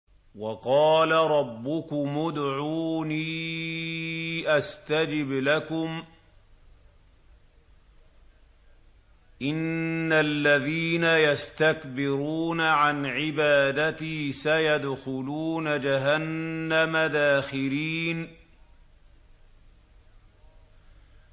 وَقَالَ رَبُّكُمُ ادْعُونِي أَسْتَجِبْ لَكُمْ ۚ إِنَّ الَّذِينَ يَسْتَكْبِرُونَ عَنْ عِبَادَتِي سَيَدْخُلُونَ جَهَنَّمَ دَاخِرِينَ